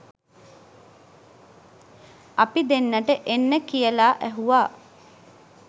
අපි දෙන්නට එන්න කියලා ඇහුවා